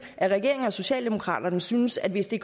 at regeringen og socialdemokraterne synes at hvis det